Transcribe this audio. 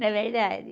Não é verdade?